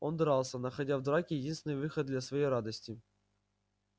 он дрался находя в драке единственный выход для своей радости